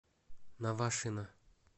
навашино